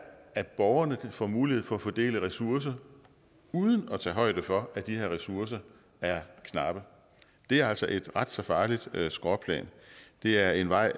at borgerne får mulighed for fordele ressourcer uden at tage højde for at de her ressourcer er knappe det er altså et ret farligt skråplan og det er en vej